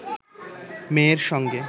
মেয়ের সঙ্গে